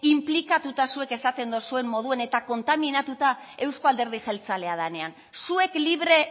inplikatuta zuek esaten duzuen moduan eta kontaminatuta euzko alderdi jeltzalea denean zuek libre